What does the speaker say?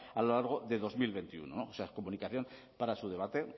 a lo largo de dos mil veintiuno o sea comunicación para su debate